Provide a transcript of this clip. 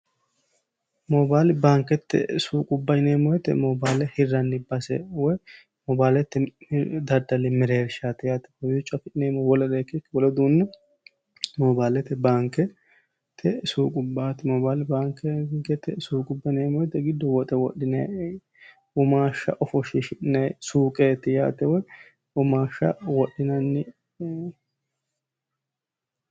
Mobile banikete suuqubba yineemo woyte mobile hiranni base woy mobilete daddali mereerishati yaate kawiicho afi'neemori wolere ikkikki mobilete baanikete suuqubaat mobile baanikete suuqubba yineemo woyte giddo wodhinay womaasha wodhinay suuqeet yaate woy womaasha wodhinay